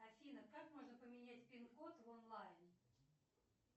афина как можно поменять пин код в онлайн